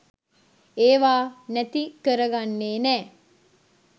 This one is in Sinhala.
ඒවා නැති කරගන්නේ නෑ.